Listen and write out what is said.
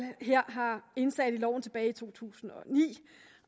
her har indsat i loven tilbage i to tusind